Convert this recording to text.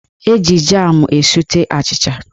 Eji jam esute achịcha.